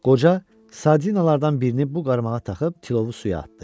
Qoca sardinalardan birini bu qarmağa taxıb tilovu suya atdı.